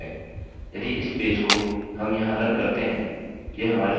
यदि इस पेज को हम यहाँ रन करते हैं यह हमारे सेशन को समाप्त कर देगा